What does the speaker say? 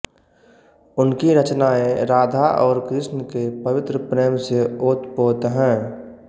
उनकी रचनाएं राधा और कृष्ण के पवित्र प्रेम से ओतपोत हैं